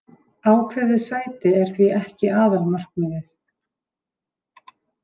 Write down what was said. Ákveðið sæti er því ekki aðalmarkmiðið.